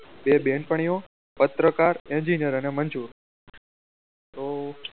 તો બે બહેનપણીઓ પત્રકાર engineer અને મજુર તો